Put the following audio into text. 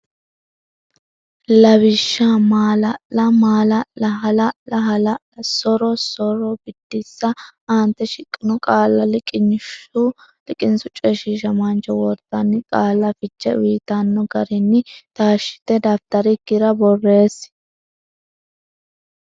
Lawishsha: maala’lla maala’la ha’lla ha’la so’rro so’ro Biddissa Aante shiqqino qaalla liqinsu coyshiishamaancho wortanni qaalla fiche uytanno garinni taashshite dafitarikkira borreessi.